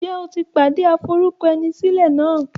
Ǹjẹ́ o ti pàdé aforúkọẹnisílẹ̀ náà?